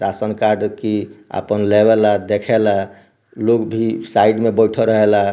Ration card की अपन लेवे ला देखे ला लोग भी साइड मे बइठल रहेला।